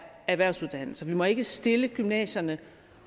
erhvervsuddannelser vi må ikke stille gymnasierne